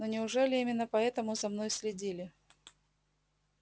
но неужели именно поэтому за мной следили